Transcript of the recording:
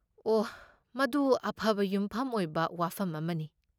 ꯑꯣꯍ, ꯃꯗꯨ ꯑꯐꯕ ꯌꯨꯝꯐꯝ ꯑꯣꯏꯕ ꯋꯥꯐꯝ ꯑꯃꯅꯤ꯫